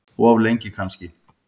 Of lengi kannski.